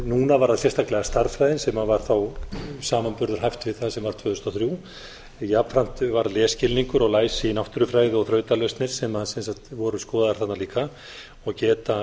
núna var það sérstaklega stærðfræðin sem var þó samanburðarhæf við það sem var tvö þúsund og þrjú jafnframt var lesskilningur og læsi í náttúrufræði og þrautalausnir sem voru skoðaðar þarna líka og geta